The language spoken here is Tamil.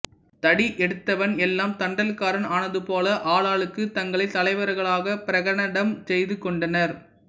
தடி எடுத்தவன் எல்லாம் தண்டல்காரன் ஆனது போல ஆளாளுக்குத் தங்களைத் தலைவர்களாகப் பிரகடனம் செய்து கொண்டனர்